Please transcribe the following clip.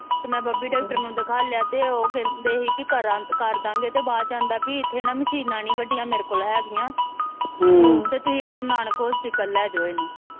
ਤੇ ਮੈ baby doctor ਨੂੰ ਦਿਖਾਲਿਆ ਤੇ ਉਹ ਕਹਿੰਦੇ ਹੀ ਪੀ ਕਰਦਾ ਗੇ ਤੇ ਬਾਅਦ ਚ ਆਂਦਾ ਵੀ ਇਥੇ ਨਾ ਮਸ਼ੀਨਾਂ ਨੀ ਵਡੀਆਂ ਮੇਰੇ ਕੋਲ ਹੇਗੀਆਂ ਤੇ ਤੁਸੀਂ ਗੁਰ ਨਾਨਕ ਹੌਸਪੀਟਲ ਲੈਜੋ ਇਹਨੂੰ